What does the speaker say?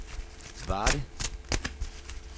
Varde